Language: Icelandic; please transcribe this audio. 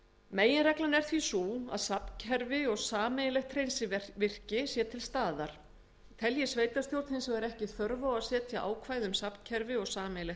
meginreglan er því sú að safnkerfi og sameiginlegt hreinsivirki sé til staðar telji sveitarstjórn hins vegar ekki þörf á að setja ákvæði um safnkerfi og sameiginlegt